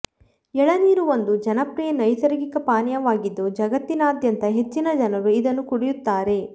ಎಳನೀರು ಒಂದು ಜನಪ್ರಿಯ ನ್ಯೆಸರ್ಗಿಕ ಪಾನಿಯವಾಗಿದ್ದು ಜಗತ್ತಿನಾದ್ಯಂತ ಹೆಚ್ಚಿನ ಜನರು ಇದನ್ನು ಕುಡಿಯುತ್ತಾರೆ